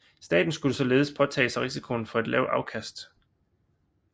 Staten skulle således påtage sig risikoen for et lavt afkast